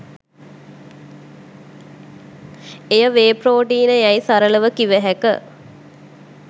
එය වේ ‍ප්‍රෝටීන යැයි සරලව කිව හැක.